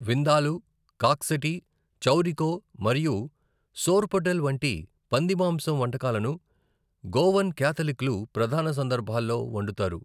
విందాలు, కాక్సటీ, చౌరికో మరియు సోర్పోటెల్ వంటి పంది మాంసం వంటకాలను గోవాన్ క్యాథలిక్లు ప్రధాన సందర్భాల్లో వండుతారు.